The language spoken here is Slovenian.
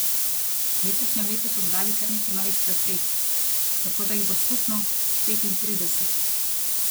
V letošnjem letu so dodali kar nekaj novih preprek, tako da jih bo skupno petintrideset.